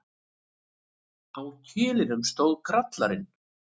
Á kilinum stóð Grallarinn.